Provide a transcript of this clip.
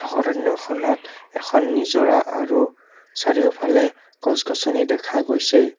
অৰণ্যখনত এখন নিজৰা আৰু চাৰিওফালে গছ গছনি দেখা গৈছে।